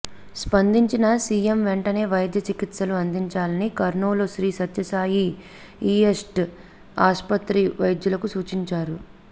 స్పందించిన సీఎం వెంటనే వైద్య చికిత్సలు అందించాలని కర్నూలు శ్రీసత్యసాయి ఈఎస్టీ ఆస్పత్రి వైద్యులకు సూచించారు